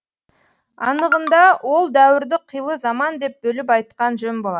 анығында ол дәуірді қилы заман деп бөліп айтқан жөн болар